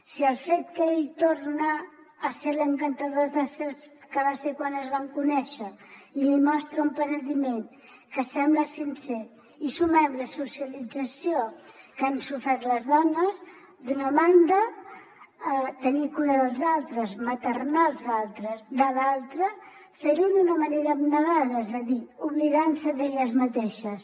si al fet que ell torna a ser l’encantador de serps que va ser quan es van conèixer i li mostra un penediment que sembla sincer hi sumem la socialització que han sofert les dones d’una banda tenir cura dels altres maternals de l’altra fer ho d’una manera abnegada és a dir oblidant se d’elles mateixes